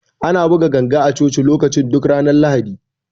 Ana buga ganga a Coci lokacin duk ranar Lahadi.